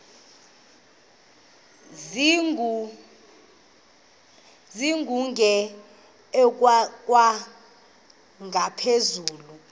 zilungele ukwalekwa ngaphezulu